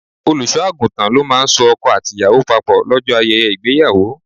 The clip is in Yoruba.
Olùṣọ́-àgùntàn ló máa ń so ọkọ àti ìyàwó papò lọ́jọ́ ayẹyẹ ìgbéyàwó.